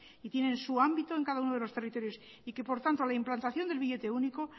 y tienen su ámbito en cada uno de los territorios y que por tanto la implantación del billete único